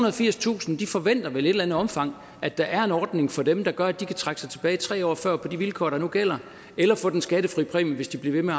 og firstusind forventer vel i et eller andet omfang at der er en ordning for dem der gør at de kan trække sig tilbage tre år før på de vilkår der nu gælder eller få den skattefri præmie hvis de bliver ved med